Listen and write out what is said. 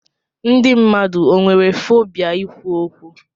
Ndị mmadụ o nwere fobia ikwu okwu?